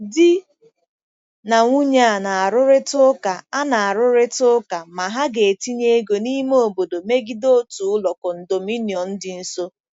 Di na nwunye a na-arụrịta ụka a na-arụrịta ụka ma ha ga-etinye ego n'ime obodo megide otu ụlọ condominium dị nso.